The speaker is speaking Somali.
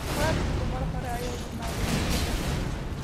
Waalidku mar hore ayay yimaadeen guriga